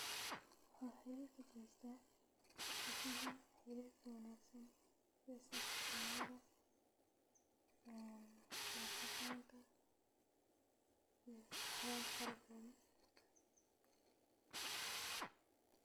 Waaxe u wanagsan tahy dismaha iyo saxbitinimadha iyo waxyala fara badan tas ayan arki haya hada sas waye.